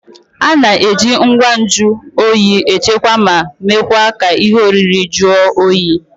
A na-eji ngwa nju oyi echekwaa ma mekwa ka ihe oriri jụọ oyi